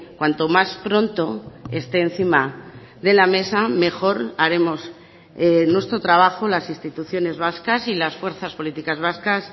cuanto más pronto esté encima de la mesa mejor haremos nuestro trabajo las instituciones vascas y las fuerzas políticas vascas